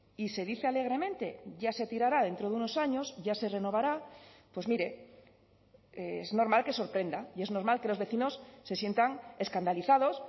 y se dice alegremente ya se tirará dentro de unos años ya se renovará pues mire es normal que sorprenda y es normal que los vecinos se sientan escandalizados